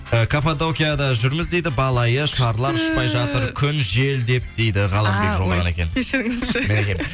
ыыы каппадокияда жүрміз дейді бал айы шарлар ұшпай жатыр күн жел деп дейді ғаламбек жолдаған екен